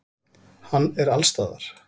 Hann er allsstaðar.